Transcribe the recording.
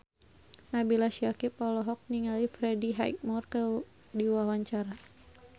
Nabila Syakieb olohok ningali Freddie Highmore keur diwawancara